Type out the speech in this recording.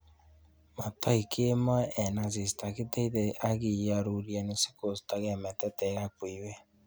Motoik kemoe en asista, kiteitei ak kioruren sikostokei metetek ak buiywet.